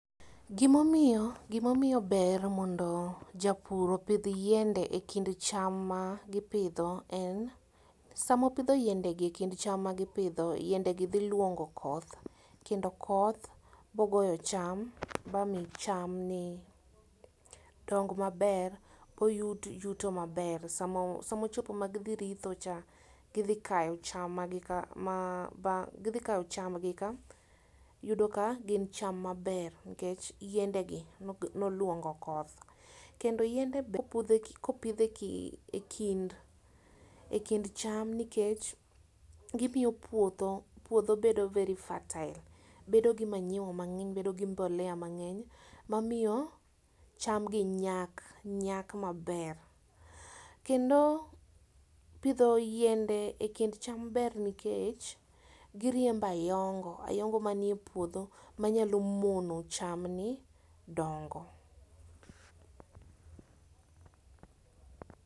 Gimomio gimomio ber mondo japur opidh yiende e kind cham ma gipidho en, samopidho yiende gi e kind cham magipidho yiendegi dhiluongo koth kendo koth bogoyo cham ba mii chamni dong maber boyud yuto maber samo samochopo magidhi ritho cha gidhi kayo cham magika ma ba gidhikayo chamgi, ka iyudo ka gin cham maber nkech yiende gi nog noluongo koth. Kendo yiende kopudh e kipidhe eki ekind ekind cham nikech, gimio puodho puodho bedo very fertile bedo gi manyiwa mang'eny bedo gi mbolea mang'eny mamio chamgi nyak nyak maber. Kendo pidho yiende e kind cham ber nikech giriembo ayongo ayongo manie puodho manyalo mono cham ni dongo.